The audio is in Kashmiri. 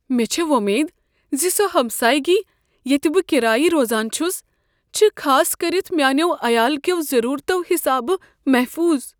مےٚ چھےٚ وۄمید ز سۄ ہمسایگی ییتہِ بہٕ كِرایہ روزان چھُس چھ خاص كٔرتھ میانیو عیال كیو ضروٗرتو حِسابہ محفوض ۔